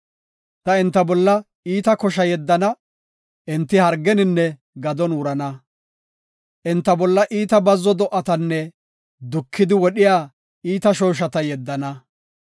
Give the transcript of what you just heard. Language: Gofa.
Ta enta bolla iita kosha yeddana; enti hargeninne gadon wurana. Enta bolla iita bazzo do7atanne dukidi wodhiya iita shooshata yeddana.